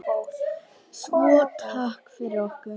Svo takk fyrir okkur.